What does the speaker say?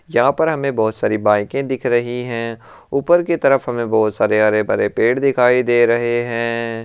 यहां पर हमें बहुत सारी बाइके दिख रही है ऊपर की तरफ हमे बहोत सारे हरे भरे पेड़ दिखाई दे रहे हैं।